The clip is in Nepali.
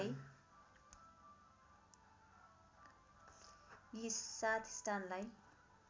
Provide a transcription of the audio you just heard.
यी सात स्थानलाई